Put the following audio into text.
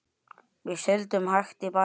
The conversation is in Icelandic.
Við sigldum hægt í bæinn.